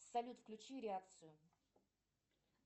салют включи реакцию